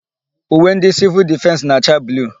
Uwe ndị Sịvịl Difensị na-acha bluu.